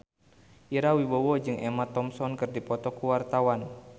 Ira Wibowo jeung Emma Thompson keur dipoto ku wartawan